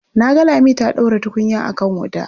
Na ga Lami ta ɗaura tukunya a kan wuta.